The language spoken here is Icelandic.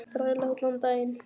Þræla allan daginn!